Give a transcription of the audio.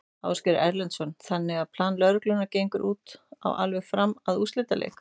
Ásgeir Erlendsson: Þannig að plan lögreglunnar gengur út á alveg fram að úrslitaleik?